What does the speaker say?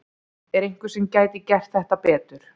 Er einhver sem gæti gert þetta betur?